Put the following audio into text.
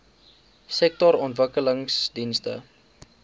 sektorontwikkelingdienste